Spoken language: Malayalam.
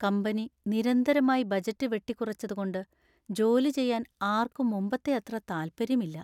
കമ്പനി നിരന്തരമായി ബജറ്റ് വെട്ടിക്കുറച്ചതുകൊണ്ട് ജോലി ചെയ്യാൻ ആർക്കും മുമ്പത്തെ അത്ര താല്പര്യമില്ല.